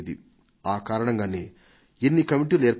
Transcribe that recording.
ఆ కారణంగానే ఎన్నో కమిటీలు ఏర్పాటయ్యాయి